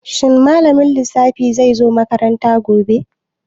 Shin malamin lissafi zai zo makaranta gobe?